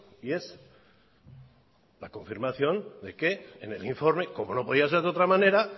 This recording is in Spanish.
y es la confirmación de que en el informe como no podía ser de otra manera